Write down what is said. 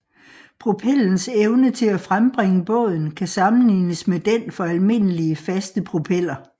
Propellens evne til at frembringe båden kan sammenlignes med den for almindelige faste propeller